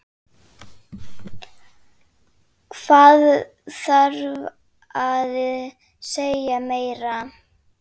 Hvað þarf að segja meira?